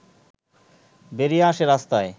বেরিয়ে আসে রাস্তায়